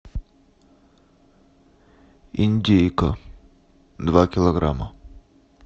индейка два килограмма